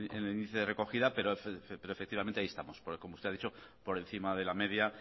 el índice de recogida pero efectivamente ahí estamos porque como usted ha dicho por encima de la media